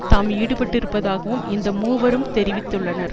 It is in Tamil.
தாம் ஈடுபட்டிருந்ததாகவும் இந்த மூவரும் தெரிவித்துள்ளனர்